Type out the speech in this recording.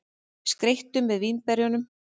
Skreyttu með vínberjunum.